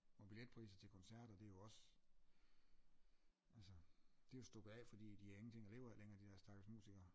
Og billetpriser til koncerter det er jo også altså det er jo stukket af fordi de har ingenting at leve af længere de der stakkels musikere